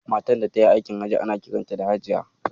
Matar da tayi aikin Hajji ana kiranta da Hajiya.